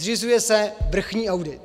Zřizuje se vrchní audit.